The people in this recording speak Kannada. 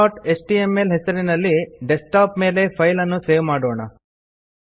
searchಎಚ್ಟಿಎಂಎಲ್ ಹೆಸರಲ್ಲಿ ಡೆಸ್ಕ್ಟಾಪ್ ಮೇಲೆ ಫೈಲ್ ಅನ್ನು ಸೇವ್ ಮಾಡೋಣ